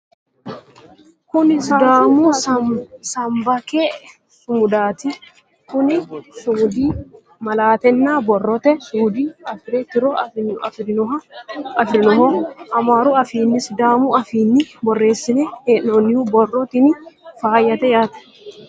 kuni sidaamu sbaanke sumudaati kuni sumudi malaatanna borrote suude afire tiro afirinoho amaaru afiinninna sidaamu afiinni borreessine hee'nonni borro tini faayyate yaate